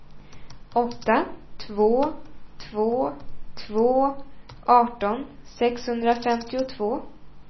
åtta två två två arton sexhundrafemtiotvå